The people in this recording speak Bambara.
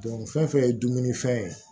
fɛn fɛn ye dumunifɛn ye